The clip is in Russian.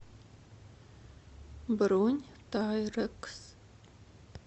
бронь тайрэкс